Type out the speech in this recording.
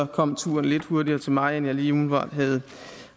kom turen lidt hurtigere til mig end jeg lige umiddelbart havde